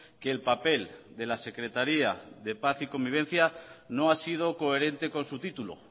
que el papel de la secretaria de paz y convivencia no ha sido coherente con su título